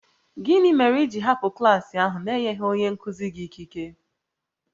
Gịnị mere i ji hapụ klas ahụ n'enyeghị onye nkụzi gị ikike?